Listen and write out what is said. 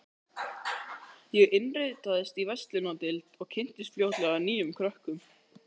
Ég innritaðist í verslunardeild og kynntist fljótlega nýjum krökkum.